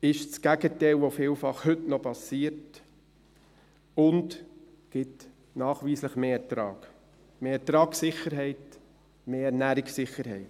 Das ist das Gegenteil von dem, was heute noch vielfach passiert, und gibt nachweislich mehr Ertrag, mehr Ertragssicherheit, mehr Ernährungssicherheit.